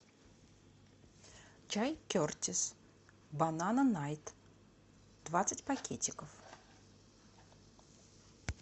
чай кертис банана найт двадцать пакетиков